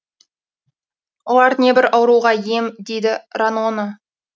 олар небір ауруға ем дейді ранона